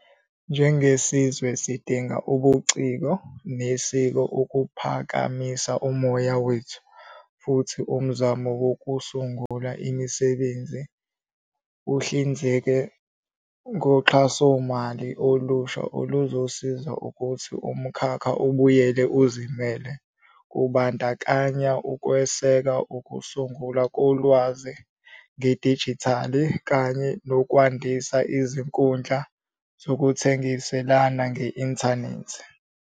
Njengesizwe, sidinga ubuciko nesiko ukuphakamisa umoya wethu futhi umzamo wokusungula imisebenzi uhlinzeka ngoxhasomali olusha oluzosiza ukuthi umkhakha ubuyele uzimele, kubandakanya ukweseka ukusungulwa kolwazi ngedijithali kanye nokwandisa izinkundla zokuthengiselana nge-inthanethi.